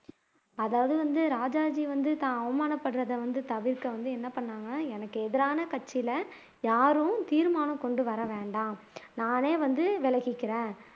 அதாவது வந்து ராஜாஜி வந்து தான் அவமானப்படுறதை வந்து தவிர்க்க வந்து என்ன பண்ணாங்க எனக்கு எதிரான கட்சியில யாரும் தீர்மானம் கொண்டு வரவேண்டாம் நானே வந்து விலகிக்கிறேன்